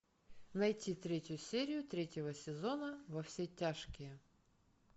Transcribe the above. найти третью серию третьего сезона во все тяжкие